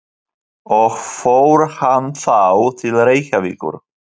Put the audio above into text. Og fór hann þá til Reykjavíkur?